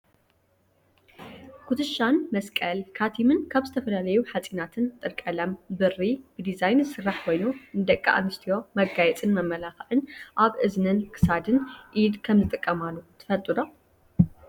ኩቱሻን መስቀል፣ ካቲምን ካብ ዝተፈላለዩ ሓፂናትን ጥርቀለም፣ ብሪ ብዲዛይን ዝስራሕ ኮይኑ፣ ንደቂ ኣንስትዮ መጋየፅን መመላክዕን ኣብ እዝኒን ክሳድ፣ ኢድ ከምዝጥቀማሉ ትፈልጡ ዶ?